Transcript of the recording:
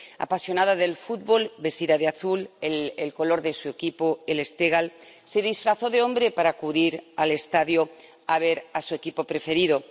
Apasionada del fútbol, vestida de azul, el color de su equipo, el Esteghlal, se disfrazó de hombre para acudir al estadio a ver a su equipo preferido.